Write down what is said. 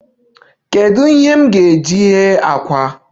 Kedu ihe m ga-eji ghee àkwá?